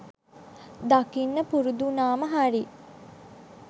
දකින්න පුරුදු වුනාම හරි.